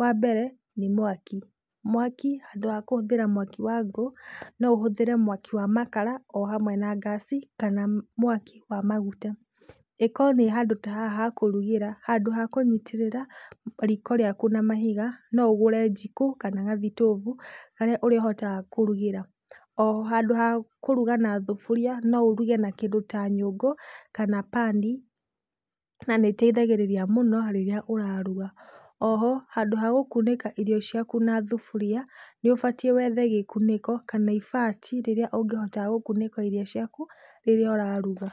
Wambere nĩ mwaki, mwaki handũ ha kũhũthĩra mwaki wa ngũ, no ũhũthĩre mwaki wa makara, o hamwe na ngasi, kana mwaki wamaguta. Ĩkorwo nĩ handũ ta haha hakũrugĩra, handũ ha kũnyitĩrĩra, riko rĩaku na mahiga, no ũgũre njĩko, kana gathitobu, karĩa ũrĩhotaga kũrugĩra. Oho handũ ha kũruga na thuburia, no ũruge na kĩndũ ta nyũngũ, kana pan na nĩ ĩteithagĩrĩria mũno rĩrĩa ũraruga, oho handũ wa gũkunĩkairio ciaku na thuburia, nĩũbatiĩ wethe gĩkunĩko, kana ibati, rĩrĩa ũngĩhota gũkunĩka irio ciaku, rĩrĩa ũraruga.